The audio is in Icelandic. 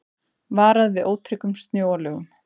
Varað við ótryggum snjóalögum